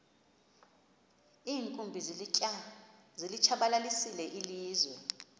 iinkumbi zilitshabalalisile ilizwe